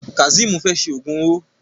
Kazeem fè ṣe ògún owó.